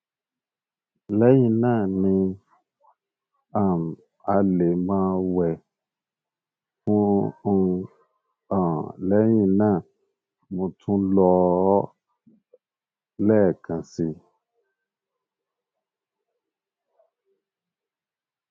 lẹyìn náà ní um alẹ mo wẹ um fún un um lẹyìn náà mo tún lò ó lẹẹkan si